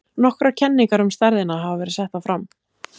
Nokkrar kenningar um stærðina hafa verið settar fram.